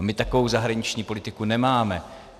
A my takovou zahraniční politiku nemáme.